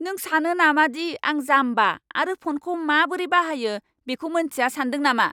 नों सानो नामादि आं जाम्बा आरो फ'नखौ माबोरै बाहायो बेखौ मोन्थिया सान्दों नामा?